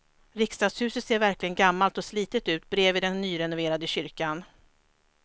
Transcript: Riksdagshuset ser verkligen gammalt och slitet ut bredvid den nyrenoverade kyrkan.